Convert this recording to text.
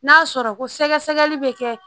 N'a sɔrɔ ko sɛgɛsɛgɛli bɛ kɛ